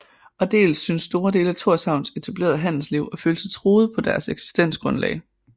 Og dels syntes store dele af Thorshavns etablerede handelsliv at føle sig truet på deres eksistensgrundlag